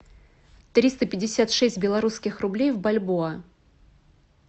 триста пятьдесят шесть белорусских рублей в бальбоа